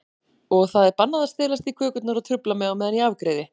Og það er bannað að stelast í kökurnar og trufla mig á meðan ég afgreiði.